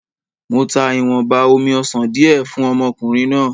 Mo ta ìwọ̀nba omi-ọsàn di ẹ fún ọmọkùnrin náà.